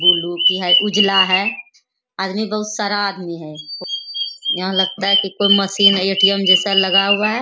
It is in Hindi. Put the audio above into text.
वो लोग की है उजला है आदमी बोहोत सारा आदमी है | यहां लगता है कि कोई मशीन है एटीएम जैसा लगा हुआ है।